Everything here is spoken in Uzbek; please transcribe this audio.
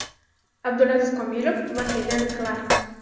Abdulaziz Komilov va Helen Klark.